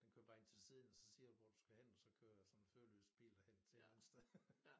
Den kører bare ind til siden og så siger du hvor du skal hen og så kører sådan en føreløs bil dig hen til et eller andet sted